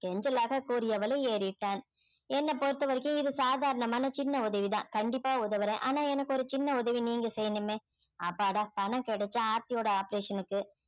கெஞ்சலாக கூறியவளை ஏறிட்டான் என்ன பொறுத்தவரைக்கும் இது சாதாரணமான சின்ன உதவி தான் கண்டிப்பா உதவுறேன் ஆனா எனக்கு ஒரு சின்ன உதவி நீங்க செய்யணுமே அப்பாடா பணம் கிடைச்சா ஆர்த்தியோட operation க்கு